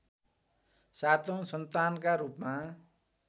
सातौँ सन्तानका रूपमा